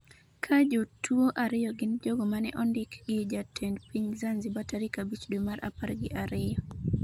Ka jotuwo ariyo gin jogo ma ne ondiki gi jatend piny Zanzibar tarik 5 dwe mar apar gi ariyo.